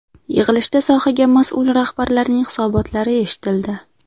Yig‘ilishda sohaga mas’ul rahbarlarning hisobotlari eshitildi.